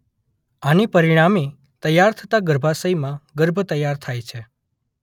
આને પરિણામે તૈયાર થતાં ગર્ભાશયમાં ગર્ભ તૈયાર થાય છે.